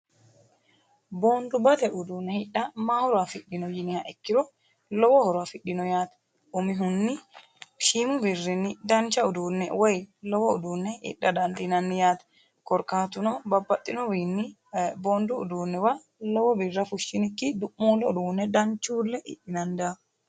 Boondubate uduune hidha mayi horo afidhino yinniha ikiro lowo horo afidhino yaate umihunni shiimu birrini jawa uduune woyi lowo uduune hidha dandiinnanni yaate korkaatu no babaxitino wiinni boondu uduunuwa lowo birra fushiniki dum'ulee uduune danchuule hidhinanni daafo.